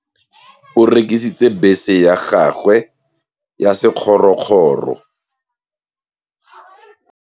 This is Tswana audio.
Malome o rekisitse bese ya gagwe ya sekgorokgoro.